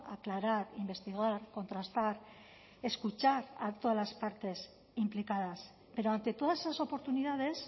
aclarar investigar contrastar escuchar a todas las partes implicadas pero ante todas esas oportunidades